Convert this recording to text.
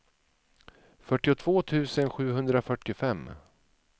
fyrtiotvå tusen sjuhundrafyrtiofem